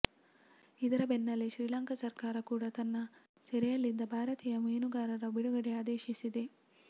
ಇದರ ಬೆನ್ನಲ್ಲೇ ಶ್ರೀಲಂಕಾ ಸರ್ಕಾರ ಕೂಡಾ ತನ್ನ ಸೆರೆಯಲ್ಲಿದ್ದ ಭಾರತೀಯ ಮೀನುಗಾರರ ಬಿಡುಗಡೆಗೆ ಆದೇಶಿಸಿದೆ